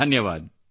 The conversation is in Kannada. ಧನ್ಯವಾದ